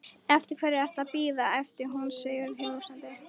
Eftir hverju ertu að bíða? æpti hún sigrihrósandi.